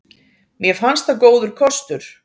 Mér fannst það góður kostur.